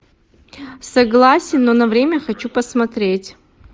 согласен но на время хочу посмотреть